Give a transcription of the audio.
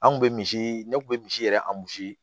An kun be misi ne kun be misi yɛrɛ